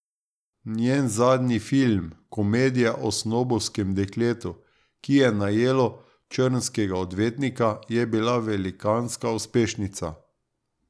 Njen zadnji film, komedija o snobovskem dekletu, ki je najelo črnskega odvetnika, je bila velikanska uspešnica.